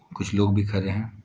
कुछ लोग भी खड़े हैं।